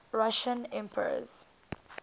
russian emperors